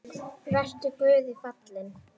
Vertu guði falinn.